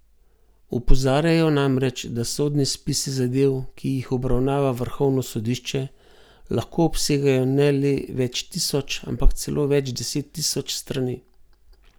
Opozarjajo namreč, da sodni spisi zadev, ki jih obravnava vrhovno sodišče, lahko obsegajo ne le več tisoč, ampak celo več deset tisoč strani.